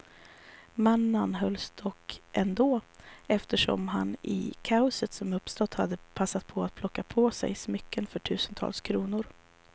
Mannen anhölls dock ändå, eftersom han i kaoset som uppstått hade passat på att plocka på sig smycken för tusentals kronor.